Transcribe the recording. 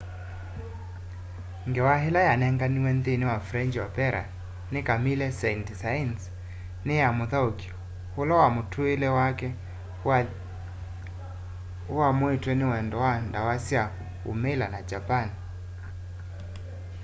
ngewa ila yanenganiwe nthini wa french opera ni camille saint-saens ni ya muthauki ula mutuile wake uamuitwe ni wendo wa ndawa sya umila na japan